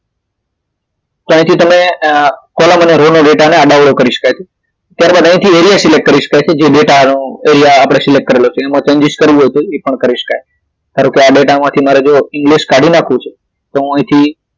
તો અહીથી તમે અહી column અને row નો ડેટા ને આડા અવળો કરી શકાય છે ત્યારબાદ અહીથી area select કરી શકાય છે જે ડેટા નું એરિયા આપડે select કરેલો છે એમાં changes કરવું હોય તો એ પણ કરી શકાય ધારો કે આ ડેટા માંથી મારે જોવો english કાઢી નાખવું છે તો હું અહીથી